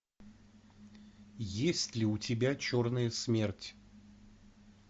есть ли у тебя черная смерть